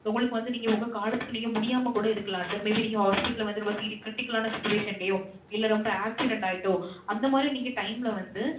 உங்களுக்கு வந்து நீங்க உங்க காலத்துக்கும் நீங்க முடியாம கூட இருக்கலாம் sir. maybe நீங்க hospital ல வந்து ரொம்ப serious critical ஆன situation லயோ இல்ல ரெம்ப accident ஆயிட்டோ, அந்த மாதிரி நீங்க time ல வந்து